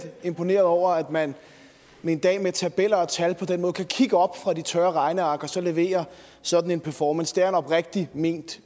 imponeret over at man med en dag med tabeller og tal på den måde kan kigge op fra de tørre regneark og så levere sådan en performance det er en oprigtigt ment